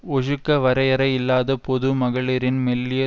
ஒஜுக்க வரையரை இல்லாத பொது மகளிரின் மெல்லிய